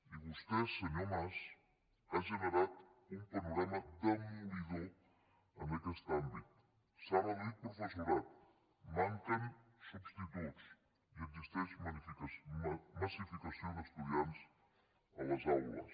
i vostè senyor mas ha generat un panorama demolidor en aquest àmbit s’ha reduït professorat manquen substituts i existeix massificació d’estudiants a les aules